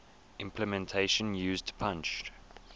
implementation used punched